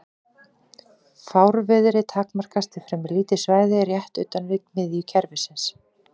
Fárviðrið takmarkast við fremur lítið svæði rétt utan við miðju kerfisins.